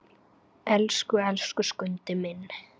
Elsku, elsku Skundi minn!